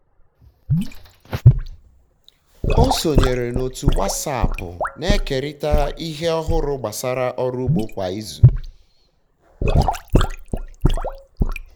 e sonyeere m otu wasapụ na-ekerịta ihe ọhụrụ gbasara ọrụ ugbo kwa izu